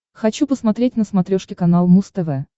хочу посмотреть на смотрешке канал муз тв